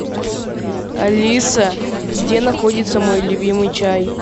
алиса где находится мой любимый чай